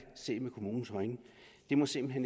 set med kommunens øjne det må simpelt